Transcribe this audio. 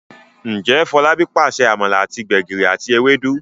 Njé Folabi pàṣẹ amala àti gbegiri àti Ewédú?